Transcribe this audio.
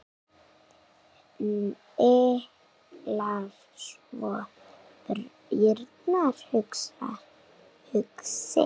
Hnyklar svo brýnnar hugsi.